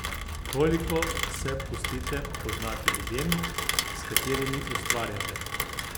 Koliko se pustite poznati ljudem, s katerimi ustvarjate?